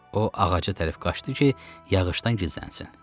O ağaca tərəf qaçdı ki, yağışdan gizlənsin.